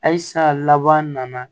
Halisa laban nana